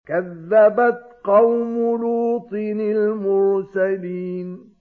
كَذَّبَتْ قَوْمُ لُوطٍ الْمُرْسَلِينَ